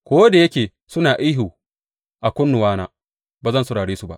Ko da yake suna ihu a kunnuwana, ba zan saurare su ba.